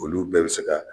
Olu bɛɛ bɛ se ka